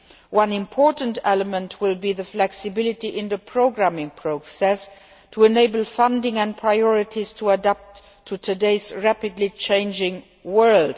One important element will be flexibility in the programming process, so that funding and priorities can adapt to today's rapidly changing world.